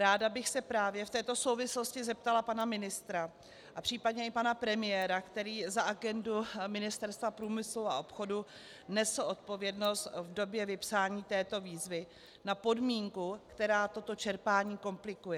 Ráda bych se právě v této souvislosti zeptala pana ministra a případně i pana premiéra, který za agendu Ministerstva průmyslu a obchodu nesl odpovědnost v době vypsání této výzvy, na podmínku, která toto čerpání komplikuje.